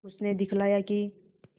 उसने दिखलाया कि